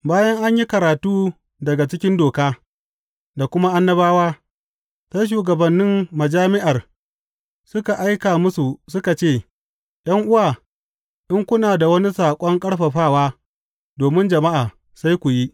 Bayan an yi karatu daga cikin Doka, da kuma Annabawa, sai shugabannin majami’ar suka aika musu suka ce, ’Yan’uwa, in kuna da wani saƙon ƙarfafawa domin jama’a, sai ku yi.